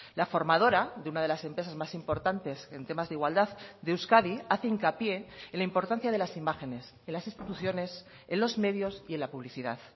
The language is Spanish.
la formadora de una de las empresas más importantes en temas de igualdad de euskadi hace hincapié en la importancia de las imágenes en las instituciones en los medios y en la publicidad